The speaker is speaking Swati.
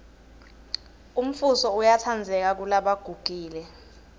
umfuso uyatsandzeka kelebagugile